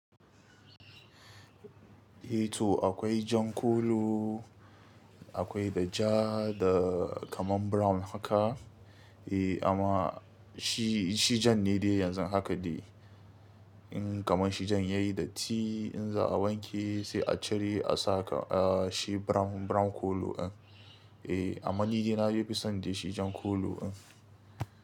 Eh to akwai jan kolo, akwai da ja da kaman brown haka. Eh amma shi, shi jan ne dai yanzu haka dai. In kaman shi jan ya yi datti, in za a wanke sai a cire a saka a shi brown, brown kolo in. Eh amma ni dai na fi son dai shi jan kolo in.